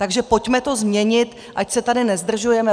Takže pojďme to změnit, ať se tady nezdržujeme.